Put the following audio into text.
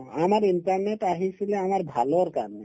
আমাৰ internet আহিছিলে আমাৰ ভালৰ কাৰণে